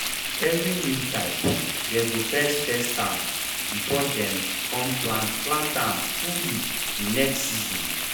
every new type dey go first test ahm before dey com plant plant ahm fully de next season.